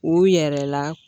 U yɛrɛla